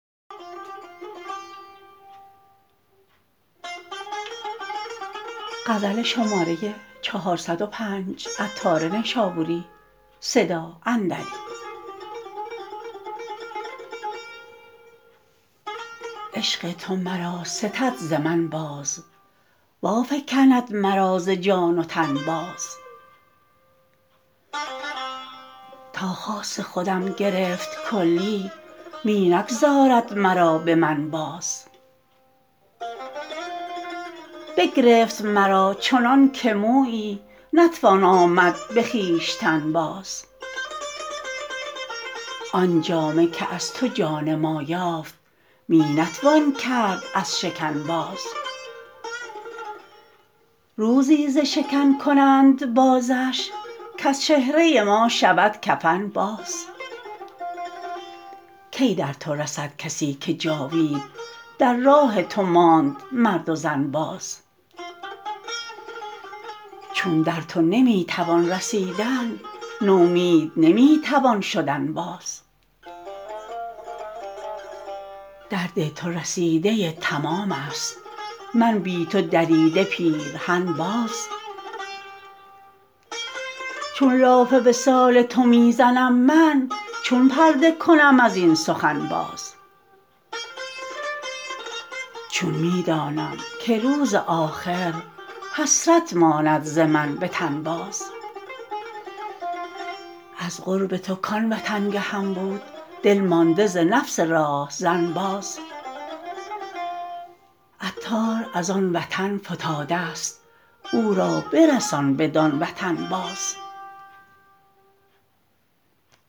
عشق تو مرا ستد ز من باز وافگند مرا ز جان و تن باز تا خاص خودم گرفت کلی می نگذارد مرا به من باز بگرفت مرا چنان که مویی نتوان آمد به خویشتن باز آن جامه که از تو جان ما یافت می نتوان کرد از شکن باز روزی ز شکن کنند بازش کز چهره ما شود کفن باز کی در تو رسد کسی که جاوید در راه تو ماند مرد و زن باز چون در تو نمی توان رسیدن نومید نمی توان شدن باز درد تو رسیده تمام است من بی تو دریده پیرهن باز چون لاف وصال تو می زنم من چون پرده کنم ازین سخن باز چون می دانم که روز آخر حسرت ماند ز من به تن باز از قرب تو کان وطنگهم بود دل مانده ز نفس راهزن باز عطار از آن وطن فتاده است او را برسان بدان وطن باز